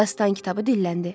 Dastan kitabı dilləndi.